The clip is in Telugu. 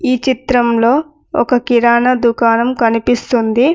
ఈ చిత్రంలో ఒక కిరాణా దుకాణం కనిపిస్తుంది.